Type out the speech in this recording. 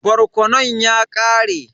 Barkonon ya ƙare.